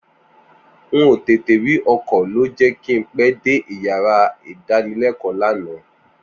N ò tètè rí ọkọ̀ ló jẹ́ kí n pẹ́ dé yàrá ìdánilẹ́kọ̀ọ́ lánàá